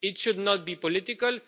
It should not be political.